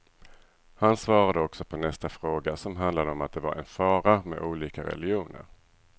Han svarade också på nästa fråga som handlade om att det var en fara med olika religioner.